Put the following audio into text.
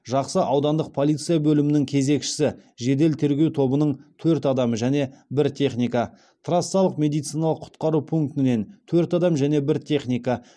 жақсы аудандық полиция бөлімінің кезекші жедел тергеу тобынан төрт адам және бір техника трассалық медициналық құтқару пунктінен төрт адам және бір техника